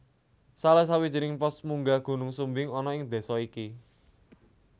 Salah sawijining pos munggah Gunung Sumbing ana ing désa iki